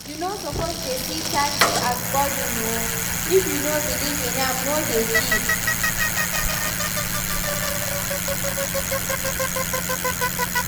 You no suppose dey see tithe as burden oo, if you no believe in am no dey give